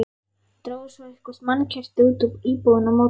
Drógu svo eitthvert mannkerti út úr íbúðinni á móti.